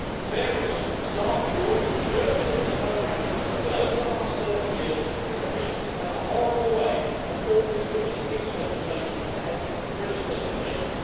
Various staff of yours have assured me that this won't happen, but over the last 30 years, the Commission has had a horrible way of always putting its legislation ahead of the British legislation.